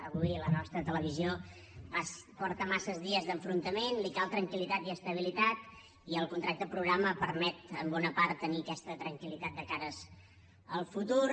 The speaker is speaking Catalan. avui la nostra televisió porta massa dies d’enfrontament li cal tranquil·litat i estabilitat i el contracte programa permet en bona part tenir aquesta tranquil·litat de cara al futur